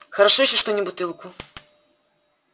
хорошо ещё что не бутылку